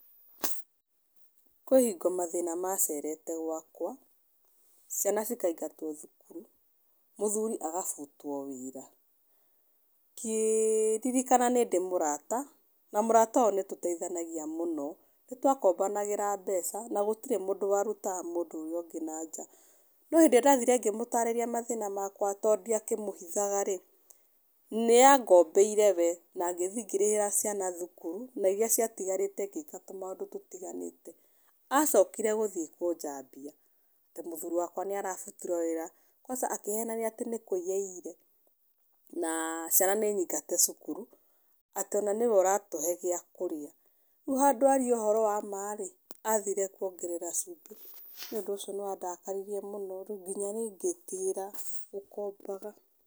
Kwĩ hingo mathĩna macerete gwakwa, ciana cikaingatwo thukuru, mũthuri agabutwo wĩra. Ngĩririkana nĩ ndĩ mũrata na mũrata ũyũ nĩ tũteithanagia mũno, nĩ twakombanagĩra mbeca na gũtirĩ warutaga mũndũ ũrĩa ũngĩ nanja. No hĩndĩ ĩrĩa ndathire ngĩmũtarĩria mathĩna makwa tondũ ndiakĩmũhithaga, nĩ angombeire we na ngĩthiĩ ngĩrĩhĩra ciana thukuru na iria ciatigarite ngĩka tũmaũndũ ũtiganĩte. Acokire gũthiĩ kũnjambia atĩ mũthuri wakwa nĩ arabutirwo wĩra, kwanza akĩhenania atĩ nĩ kũiya aiyire, na ciana nĩ nyingate cukuru, atĩ ona nĩwe ũratũhe gĩa kũrĩa. Rĩu handũ arie ũhoro wama rĩ, athire kuongerera cumbĩ. Niĩ ũndũ ũcio nĩ wandakaririe mũno rĩu nginya niĩ ngĩtigĩra gũkombaga.